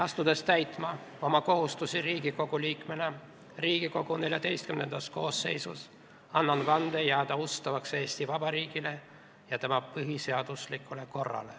Asudes täitma oma kohustusi Riigikogu liikmena Riigikogu XIV koosseisus, annan vande jääda ustavaks Eesti Vabariigile ja tema põhiseaduslikule korrale.